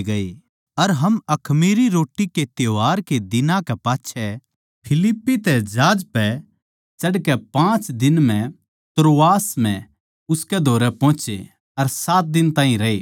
अर हम अखमीरी रोट्टी त्यौहार के दिनां कै पाच्छै फिलिप्पी तै जहाज पै चढ़कै पाँच दिन म्ह त्रोआस म्ह उसकै धोरै पोहोचे अर सात दिन ताहीं रए